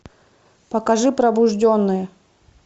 покажи пробужденные